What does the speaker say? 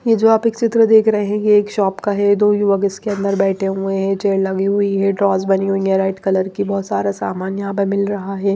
ये जो आप एक चित्र देख रहे हैं ये एक शॉप का है दो युवक इसके अंदर बैठे हुए हैं चेयर लगी हुई है ड्रॉस बनी हुई है राइट कलर की बहुत सारा सामान यहां पर मिल रहा है।